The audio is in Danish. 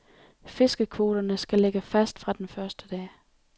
Fiskekvoterne skal lægge fast fra den første dag.